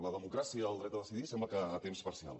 la democràcia el dret a decidir sembla que a temps parcial